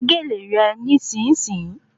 Wé gèlè rẹ ní-sìn-ń-sìn